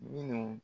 Minnu